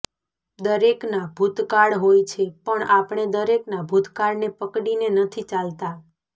દરેકના ભૂતકાળ હોય છે પણ આપણે દરેકના ભૂતકાળને પકડી ને નથી ચાલતા